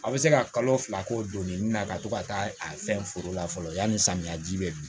A bɛ se ka kalo fila k'o donni na ka to ka taa a fɛn foro la fɔlɔ yani samiya ji bɛ don